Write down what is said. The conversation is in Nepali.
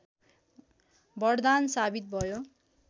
वरदान सावित भयो